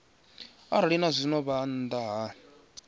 arali zwazwino vha nnḓa ha